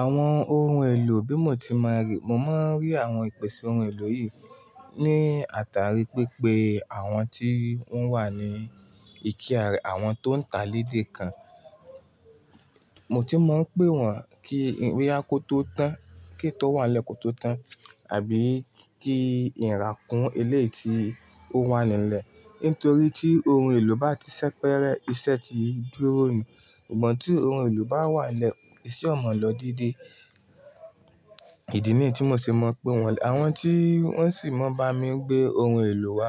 Àwọn ohun èlò bí mò ti má ri-- mo máa ń rí àwọn ìpèsè ohun èlò yìí ní àtàrí pípé àwọn tí wọ́n wà ní ìkíá rẹ̀, àwọn tó ń ta lédè kan. Mo ti máa ń pè wọ́n kí bóyá kó tó tán, kí tó wà lẹ́ kòó tó tán àbí kí ìrá kún ilé tí ó wà nílẹ̀. Nítorí tí ohun èlò bá ti sẹ́pẹ́rẹ́, iṣẹ́ ti dúró ni. Ìgbà tí ohun èlò bá wà lẹ́ẹ̀, ìṣe o mọ̀ lọ dédé. Ìdí nìyí tí mo ṣe máa ń pé wọ́n. Àwọn tí wọ́n sì máa ń bá mi gbé ohun èlò wá,